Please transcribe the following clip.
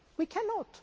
We cannot.